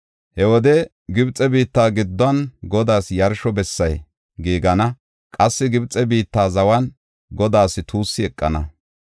He wode Gibxe biittas gidduwan, Godaas yarsho bessay giigana; qassi Gibxe biitta zawan Godaas tuussi eqana.